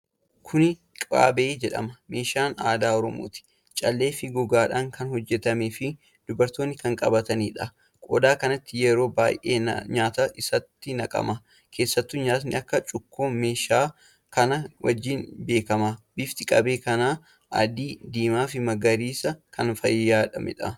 Kuni Qabee jedhama. Meeshaa aadaa Oromooti. Callee fi gogaadhaan kan hojjatamee fi dubartoonni kan qabataniidha. Qodaa kanatti yeroo baay'ee nyaatatu itti naqama. Keessattu nyaati akka Cuukkoo meeshaa kana wajjin beekamaadha. Bifti qabee kana adii, diimaa fi magariisaan kan faayameedha.